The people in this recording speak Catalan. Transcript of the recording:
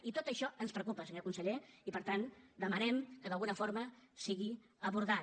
i tot això ens preocupa senyor conseller i per tant demanem que d’alguna forma sigui abordat